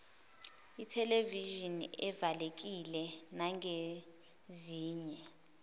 ithelevishini evalekile nangezinye